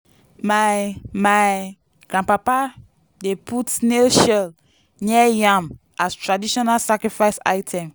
my my grandpapa dey put snail shell near yam as traditional sacrifice item.